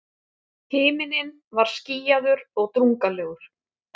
Himinninn var skýjaður og drungalegur.